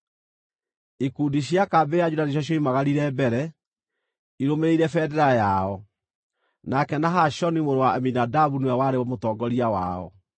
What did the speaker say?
Ikundi cia kambĩ ya Juda nĩcio cioimagarire mbere, irũmĩrĩire bendera yao. Nake Nahashoni mũrũ wa Aminadabu nĩwe warĩ mũtongoria wao.